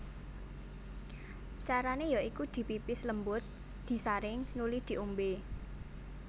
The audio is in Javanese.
Carane ya iku dipipis lembut disaring nuli di ombe